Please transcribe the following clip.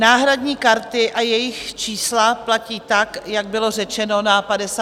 Náhradní karty a jejich čísla platí tak, jak bylo řečeno na 54. schůzi.